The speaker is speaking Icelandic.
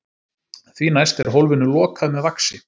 Því næst er hólfinu lokað með vaxi.